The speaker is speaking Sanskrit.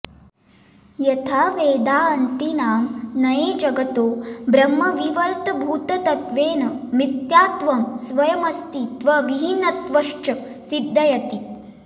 यथा वेदान्तिनां नये जगतो ब्रह्मविवर्तभूतत्वेन मिथ्यात्वं स्वयमस्ति त्वविहीनत्वञ्च सिद्धयति